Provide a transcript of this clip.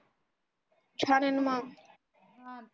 छान आह न मग .